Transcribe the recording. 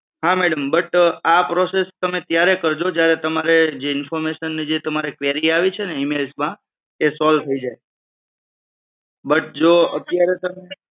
હા madam but આ process તમે ત્યારે કરજો જે information ની જે તમારે query આવી છે ને email માં એ solve થઈ જાય. but જો અત્યારે તમે